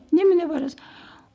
неменеге барасың